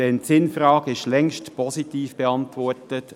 Denn die Sinnfrage ist längst positiv beantwortet;